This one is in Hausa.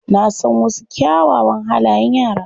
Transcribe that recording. Na san wasu kyawawan halayen yara.